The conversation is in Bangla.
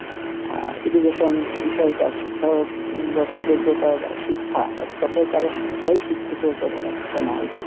আহ education বিষয় টা শিক্ষাগত যোগ্যতা বা শিক্ষা ব্যবস্থা এক কথাই তারা শিক্ষায় শিক্ষিত হতে হচ্ছে না আর কী,